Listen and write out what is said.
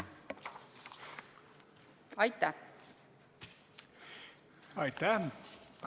Aitäh!